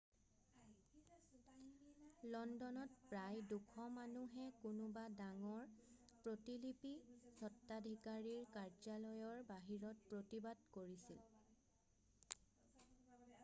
লণ্ডনত প্ৰায় 200 মানুহে কোনোবা ডাঙৰ প্ৰতিলিপি স্তত্বাধিকাৰীৰ কাৰ্য্যালয়ৰ বাহিৰত প্ৰতিবাদ কৰিছিল